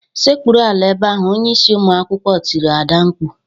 "Sekpuruala ebe ahụ!" Onye isi ụmụ akwụkwọ tiri Ada mkpu